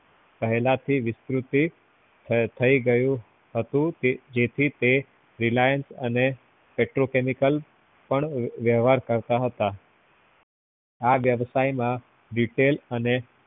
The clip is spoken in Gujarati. પેહલા થી વિકૃતિ થઇ ગયેલું હતું જેથી તે reliance અને petrochemical પણ વ્યવહાર કરતા હતા આ વ્યવસાયમાં detail અને